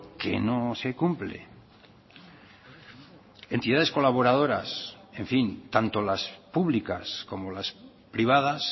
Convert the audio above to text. que no se cumple entidades colaboradoras en fin tanto las públicas como las privadas